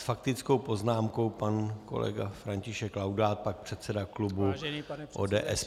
S faktickou poznámkou pan kolega František Laudát, pak předseda klubu ODS.